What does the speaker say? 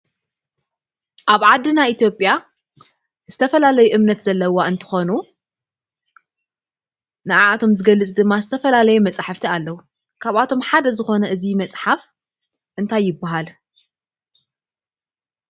ኣብ ዓድና ኢትዮጵያ ዝተፈላለየ እምነት ዘለዋ እንትትኮኑ ነዓዓቶም ዝገልፅ ዝተፈላለየ መፅሓፍቲ ኣለው። ካብኣቶም ሓደ ዝኮነ እዙይ መፅሓፍ እንታይ ይብሃል?